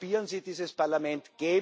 Halbieren Sie dieses Parlament.